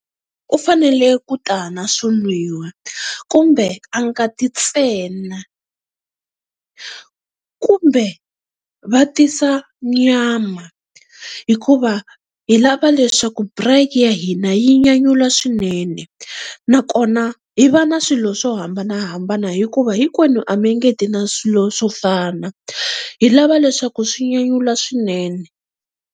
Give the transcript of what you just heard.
U fanele ku ta na swo nwiwa kumbe a nga ti ntsena kumbe va tisa nyama hikuva, hi lava leswaku braai ya hina yi nyanyula swinene. Nakona hi va na swilo swo hambanahambana hikuva hinkwenu a mi nge ti na swilo swo fana, hi lava leswaku swi nyanyula swinene.